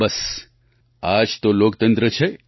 બસ આ જ તો લોકતંત્ર છે